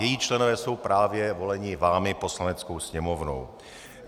Její členové jsou právě voleni vámi, Poslaneckou sněmovnou.